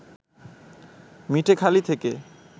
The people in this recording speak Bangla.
মিঠেখালি থেকে